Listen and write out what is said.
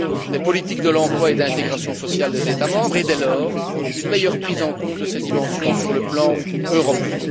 des politiques de l'emploi et d'intégration sociale des États membres et, dès lors, une meilleure prise en compte de ces dimensions sur le plan européen.